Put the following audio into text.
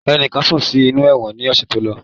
Enikan kú sí inú ẹ̀wọ̀n ni ọ̀sẹ̀ tó lọ